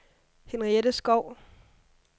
Henriette Skou